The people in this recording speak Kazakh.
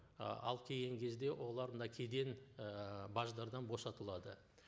ы алып келген кезде олар мына кеден і баждардан босатылады